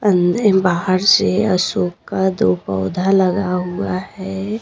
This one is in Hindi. अंद बाहर से अशोक का दो पौधा लगा हुआ है।